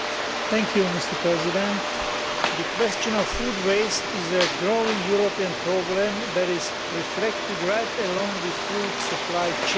Mr President, the question of food wastage is a growing European problem that is reflected right along the food supply chain.